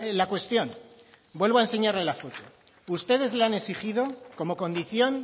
la cuestión vuelvo a enseñarle la foto ustedes le han exigido como condición